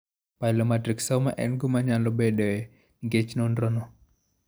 Pilomatrixoma en gima nyalo bedoe nikech nonrono.